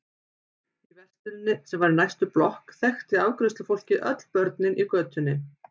Í versluninni, sem var í næstu blokk, þekkti afgreiðslufólkið öll börnin í götunni.